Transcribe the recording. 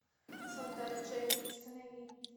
солдат джейн установи